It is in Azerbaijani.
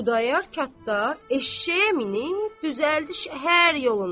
Xudayar qatdar eşşəyə minib düzəltdi şəhər yoluna.